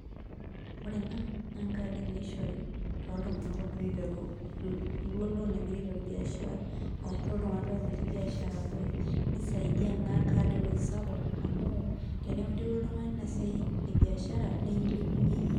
Ore ena, na nkaadi naishori toltung'anak ogira aiteru kulo leton egira aiteru biashara, arashu toltung'anak leton etii biashara eabori. Nisaidia ena kad ewoi sapuk amu, teneeku interua oltung'ani inasiai ebiashara, nekilepunye iyie.